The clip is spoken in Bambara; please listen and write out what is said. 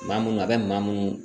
Maa munnu a bɛ maa munnu